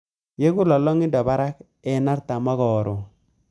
Yegu lolongindo barak eng artam karon